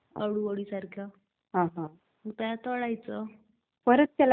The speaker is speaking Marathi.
बरं बरं बरं ठीक आहे चाल मला कॉल येतेय दुसरा मी करेल तुला नंतर कॉल.